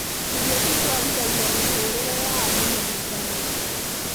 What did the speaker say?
Irio itwarithagia mĩtũrĩre ya andũ mahinda mothe